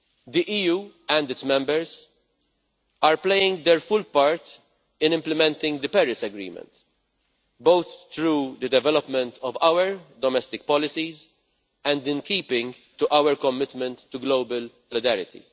The EU, and its Members, are playing their full part in implementing the Paris Agreement, both through the development of our domestic policies and in keeping to our commitment to global solidarity.